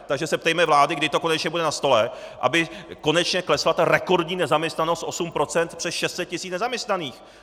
Takže se ptejme vlády, kdy to konečně bude na stole, aby konečně klesla rekordní nezaměstnanost 8 %, přes 600 tisíc nezaměstnaných!